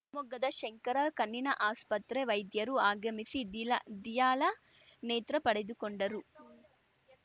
ಶಿವಮೊಗ್ಗದ ಶಂಕರ ಕಣ್ಣಿನ ಆಸ್ಪತ್ರೆ ವೈದ್ಯರು ಆಗಮಿಸಿ ದಿಲ ದಿಯಾಳ ನೇತ್ರ ಪಡೆದುಕೊಂಡರು